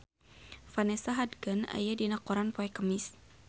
Vanessa Hudgens aya dina koran poe Kemis